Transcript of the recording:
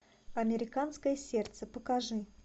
американское сердце покажи